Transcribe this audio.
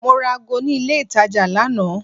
Mo ra ago ní ilé itàjà lánàá.